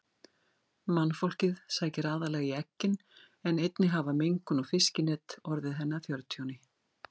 Mannfólkið sækir aðallega í eggin en einnig hafa mengun og fiskinet orðið henni að fjörtjóni.